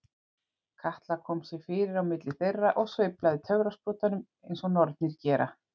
Katla kom sér fyrir á milli þeirra og sveiflaði töfrasprotanum eins og nornir gera.